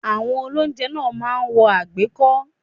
Àwọn olóúnjẹ náà máa ń wọ àgbékọ́